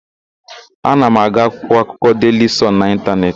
Ana m agụ akwụkwọakụkọ Deili Sọn n'Ịntanetị.